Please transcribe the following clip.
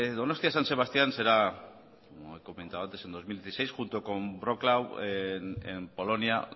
donostia san sebastián será como he comentado antes en dos mil dieciséis junto con wroclaw en polonia